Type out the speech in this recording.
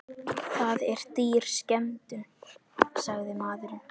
Það er dýr skemmtun, sagði maðurinn.